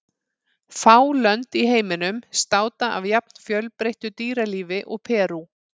Fá lönd í heiminum státa af jafn fjölbreyttu dýralífi og Perú.